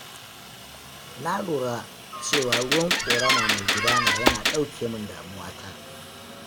Na lura cewa ruwan ƙorama mai gudana yana ɗauke min damuwata.